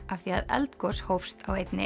af því að eldgos hófst á einni